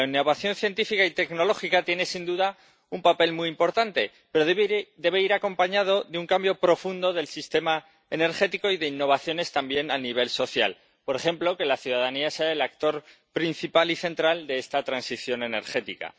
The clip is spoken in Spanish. La innovación científica y tecnológica tiene sin duda un papel muy importante, pero debe ir acompañada de un cambio profundo del sistema energético y de innovaciones también a nivel social, por ejemplo, que la ciudadanía sea el actor principal y central de esta transición energética.